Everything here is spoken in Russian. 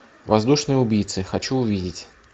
воздушные убийцы хочу увидеть